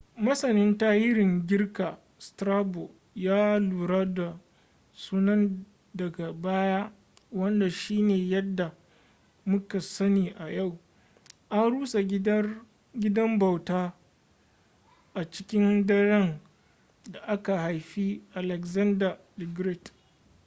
masanin tarihin girka strabo ya lura da sunan daga baya wanda shine yadda muka sani a yau. an rusa gidan bautar a cikin daren da aka haifi alexander the great